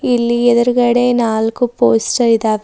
ಎಲ್ಲಿ ಎದ್ರುಗಡೆ ನಾಲ್ಕು ಪೋಸ್ಟರ್ ಇದ್ದಾ--